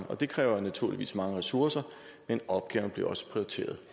og det kræver naturligvis mange ressourcer men opgaven bliver også prioriteret